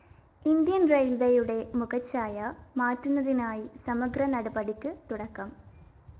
Indian‍ റയില്‍വേയുടെ മുഖഛായ മാറ്റുന്നതിനായി സമഗ്ര നടപടികള്‍ക്കു തുടക്കം